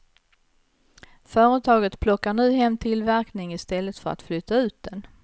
Företaget plockar nu hem tillverkning i stället för att flytta ut den.